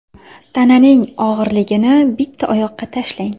Tananing og‘irligini bitta oyoqqa tashlang.